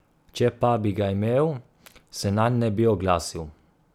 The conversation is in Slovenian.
Če pa bi ga imel, se nanj ne bi oglasil.